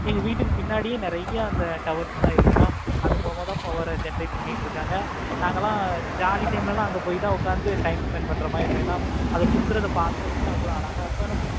எங்க வீட்டுக்கு பின்னாடி நெறைய அந்த இருக்கு. அது மூலமா தான் power ஆஹ் generate பண்ணிட்டு இருக்கேன். நாங்கல்லாம் jolly time ல அங்க பொய் உட்கார்ந்து time spend பண்ற மாதிரி இருக்கும். அத சுத்துற பார்க்கறதுக்கு அவ்வளோ அழகா இருக்கும்.